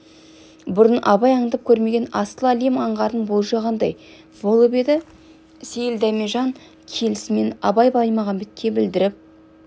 бұрын абай андап көрмеген асыл әлем аңғарын болжағандай болып еді сейіл дәмежан келісімен абай баймағамбетке білдіріп